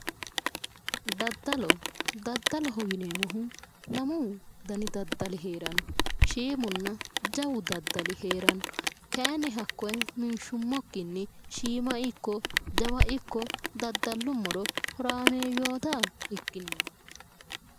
daddalo daddaloho yineemmohu lamu dani daddali heeranno shiimunna jawu daddali heeranno kayinni hakkoyi minshummokkinni shiima ikko jawa ikko daddalummoro horaameeyyoota ikkineemmo.